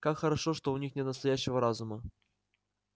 как хорошо что у них нет настоящего разума